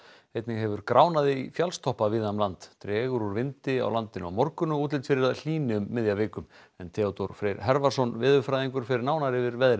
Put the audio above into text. einnig hefur í fjallstoppa víða um land dregur úr vindi á landinu á morgun og útlit fyrir að hlýni um miðja viku en Theodór Freyr veðurfræðingur fer nánar yfir veðrið